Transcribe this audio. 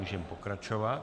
Můžeme pokračovat.